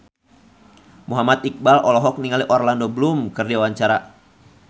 Muhammad Iqbal olohok ningali Orlando Bloom keur diwawancara